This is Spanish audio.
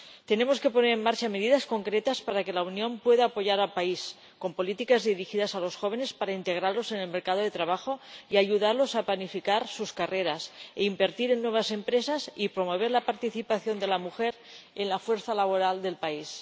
Tenemos que poner en marcha medidas concretas para que la Unión pueda apoyar al país, con políticas dirigidas a los jóvenes para integrarlos en el mercado de trabajo y ayudarlos a planificar sus carreras, e invertir en nuevas empresas, y promover la participación de la mujer en la fuerza laboral del país.